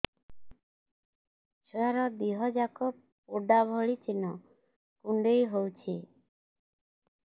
ଛୁଆର ଦିହ ଯାକ ପୋଡା ଭଳି ଚି଼ହ୍ନ କୁଣ୍ଡେଇ ହଉଛି